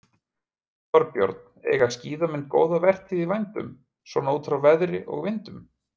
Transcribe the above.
Þorbjörn: Eiga skíðamenn góða vertíð í vændum, svona út frá veðri og öðru?